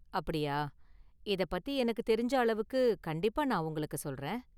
அப்படியா, இதப்பத்தி எனக்கு தெரிஞ்ச அளவுக்கு கண்டிப்பா நான் உங்களுக்கு சொல்றேன்.